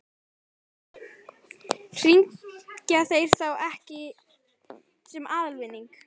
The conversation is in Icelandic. Hringja þeir ekki í þá sem fá aðalvinning?